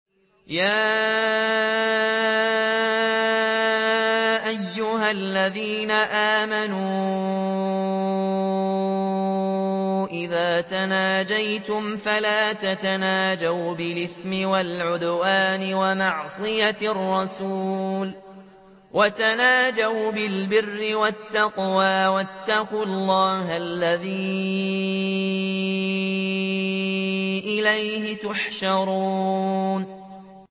يَا أَيُّهَا الَّذِينَ آمَنُوا إِذَا تَنَاجَيْتُمْ فَلَا تَتَنَاجَوْا بِالْإِثْمِ وَالْعُدْوَانِ وَمَعْصِيَتِ الرَّسُولِ وَتَنَاجَوْا بِالْبِرِّ وَالتَّقْوَىٰ ۖ وَاتَّقُوا اللَّهَ الَّذِي إِلَيْهِ تُحْشَرُونَ